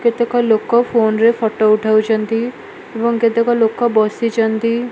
କେତେକ ଲୋକ ଫୋନରେ ଫଟ ଉଠାଉଚନ୍ତି ଏବଂ କେତେକ ଲୋକ ବସିଚନ୍ତି।